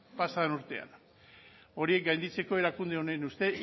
pasa den urtean horiek gainditzeko erakunde honen ustez